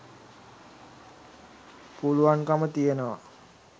පුළුවන්කම තියෙනවා.